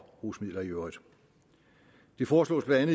rusmidler i øvrigt det foreslås blandt